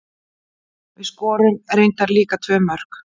Við skorum reyndar líka tvö mörk.